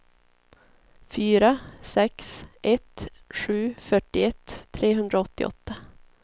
fyra sex ett sju fyrtioett trehundraåttioåtta